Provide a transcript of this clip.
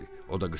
O da qışqırırdı.